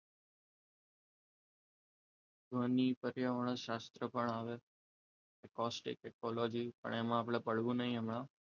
ધ્વનિ પર્યાવરણ શાસ્ત્ર પણ આવે ઇકોસ્ટિક ઇકોલોજી એમાં આપણે પડવું નહીં હમણાં,